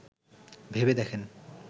ভেবে দেখেন